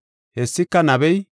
Hessika nabey,